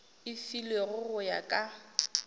e filwego go ya ka